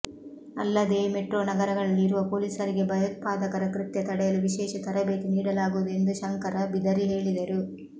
ಅಲ್ಲದೇ ಮೆಟ್ರೋ ನಗರಗಳಲ್ಲಿ ಇರುವ ಪೊಲೀಸರಿಗೆ ಭಯೋತ್ಪಾದಕರ ಕೃತ್ಯ ತಡೆಯಲು ವಿಶೇಷ ತರಬೇತಿ ನೀಡಲಾಗುವುದು ಎಂದು ಶಂಕರ ಬಿದರಿ ಹೇಳಿದರು